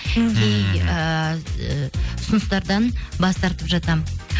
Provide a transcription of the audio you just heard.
ыыы ұсыныстардан бас тартып жатамын